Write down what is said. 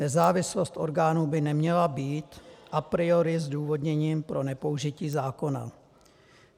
Nezávislost orgánů by neměla být a priori zdůvodněním pro nepoužití zákona.